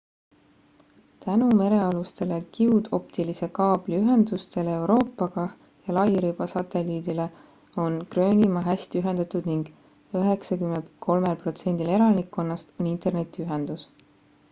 tänu merealustele kiudoptilise kaabli ühendustele euroopaga ja lairiba satelliidile on gröönimaa hästi ühendatud ning 93% elanikkonnast on internetiühendus